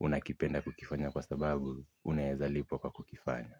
Unakipenda kukifanya kwa sababu, unaezalipwa kwa kukifanya.